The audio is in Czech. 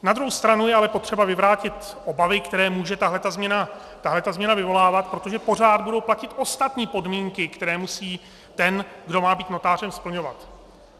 Na druhou stranu je ale potřeba vyvrátit obavy, které může tahle změna vyvolávat, protože pořád budou platit ostatní podmínky, které musí ten, kdo má být notářem, splňovat.